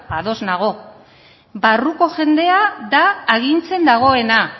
ados nago barruko jendea da agintzen dagoena